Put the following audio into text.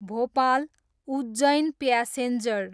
Bhopal, Ujjain passenger